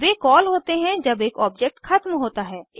वे call होते हैं जब एक ऑब्जेक्ट ख़त्म होता है